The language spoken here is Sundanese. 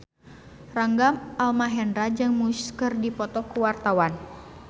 Rangga Almahendra jeung Muse keur dipoto ku wartawan